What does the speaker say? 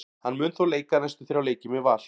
Hann mun þó leika næstu þrjá leiki með Val.